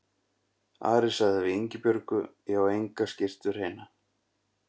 Ari sagði við Ingibjörgu:-Ég á enga skyrtu hreina.